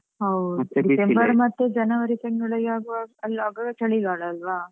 ಹೌದು December ಮತ್ತೆ January ತಿಂಗಳಿಗೆ ಆಗುವಾಗ ಆಗುವಾಗ ಚಳಿಗಾಲ ಅಲ್ವಾ?